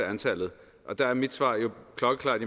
antallet og der er mit svar jo klokkeklart